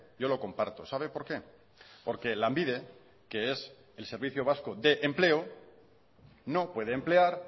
yo lo comparto sabe por qué porque lanbide que es el servicio vasco de empleo no puede emplear